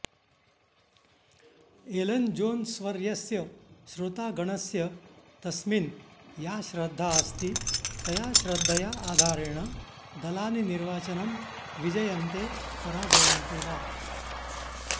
एलन्जोन्स्वर्यस्य श्रोतागणस्य तस्मिन् या श्रद्धा अस्ति तया श्रद्धया आधारेण दलानि निर्वाचनं विजयन्ते पराजयन्ते वा